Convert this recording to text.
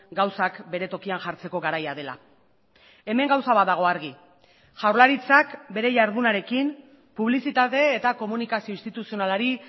gauzak bere tokian jartzeko garaia dela hemen gauza bat dago argi jaurlaritzak bere jardunarekin publizitate eta komunikazio instituzionalari